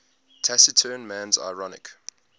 taciturn man's ironic